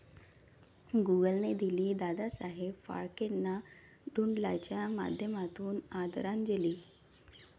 गूगलने दिली दादासाहेब फाळकेंना डुडलच्या माध्यमातून आदरांजली!